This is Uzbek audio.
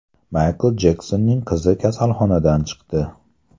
Maykl Jeksonning qizi kasalxonadan chiqdi.